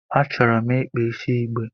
Achọrọ m ịkpa isi igbe.